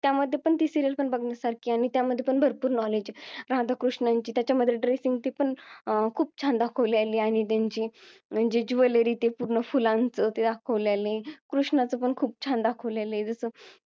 त्यामध्ये पण ती serial पण बघण्यासारखी आहे आणि त्या मध्ये पण भरपूर knowledge आहे राधा कृष्णांची त्याच्यामध्ये ड dressing ते पण खूप छान दाखवलेला आहे आणि त्यांची म्हणजे jewellery पण फुलांच दाखवलेला आहे कृष्णाच पण खूप छान दाखवलेला आहे जसं